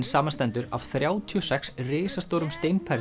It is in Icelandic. samanstendur af þrjátíu og sex risastórum